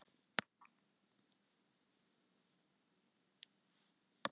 Það er þó yfirleitt notað sem samheiti yfir meginland og þær eyjar sem því tilheyra.